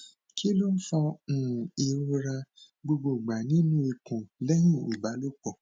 kí ló ń fa um ìrora gbogbogba nínú ikún lẹyìn ìbálòpọ